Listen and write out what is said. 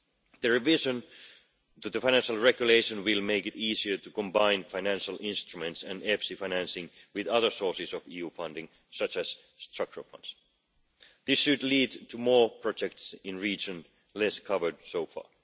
The revision to the Financial Regulation will make it easier to combine financial instruments and EFSI financing with other sources of EU funding such as the structural funds. This should lead to more projects in the regions less covered so far.